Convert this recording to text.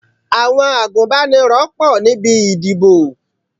Àwọn agúnbánirọ̀ pọ̀ níbi ìdìbò.